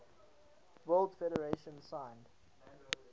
world federation signed